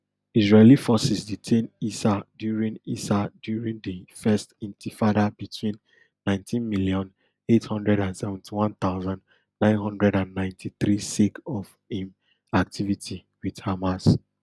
israeli forces detain issa during issa during di first intifada between nineteen million, eight hundred and seventy-one thousand, nine hundred and ninety-three sake of im activity wit hamas